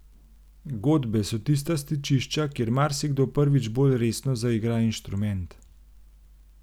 Godbe so tista stičišča, kjer marsikdo prvič bolj resno zaigra inštrument.